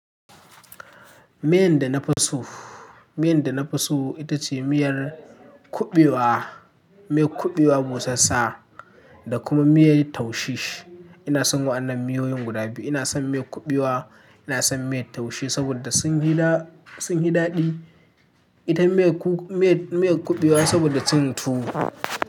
Miyan da na fi so, miyan da na fi so ita ce miyar kuɓewa, miyar kuɓewa busassa da kuma miyar taushe. Ina son waɗannan miyoyin guda biyu. Ina son miyar kuɓewa, ina son miyar taushe saboda sun yi daɗi. Ita mai kuɓewa saboda cin tuwo.